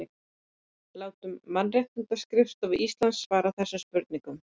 Látum Mannréttindaskrifstofu Íslands svara þessum spurningum